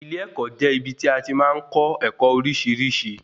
Ilé-ẹ̀kọ́ jẹ́ ibí tí a tí màá n kọ́ ẹ̀kọ́ oríṣiríṣi